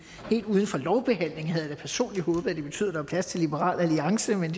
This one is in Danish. helt uden for lovbehandlingen havde jeg da personligt håbet at det betød at der var plads til liberal alliance men